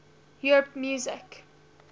europe music